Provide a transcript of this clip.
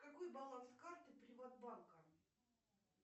какой баланс карты приват банка